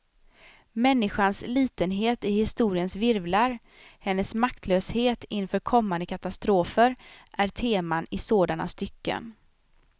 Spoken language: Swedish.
Människans litenhet i historiens virvlar, hennes maktlöshet inför kommande katastrofer är teman i sådana stycken.